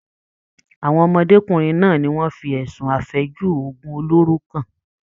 Àwọn ọmọdékunrin náà ni wọ́n fi ẹsùn afẹju òògùn oloro kan.